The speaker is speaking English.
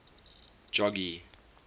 jogee